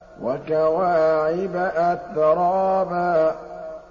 وَكَوَاعِبَ أَتْرَابًا